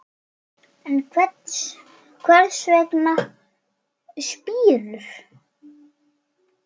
En hvers vegna spírur?